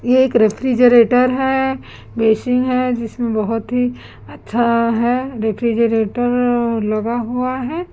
ये एक रेफ्रिजरेटर है बेसिंग है जिसमें बहोत ही अच्छा है रेफ्रिजरेटर लगा हुआ हैं।